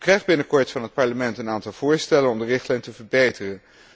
U krijgt binnenkort van het Parlement een aantal voorstellen om de richtlijn te verbeteren.